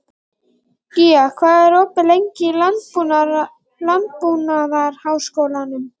Gía, hvað er opið lengi í Landbúnaðarháskólanum?